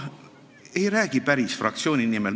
Ma ei räägi päris fraktsiooni nimel.